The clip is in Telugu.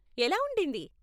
ఎలా ఉండింది?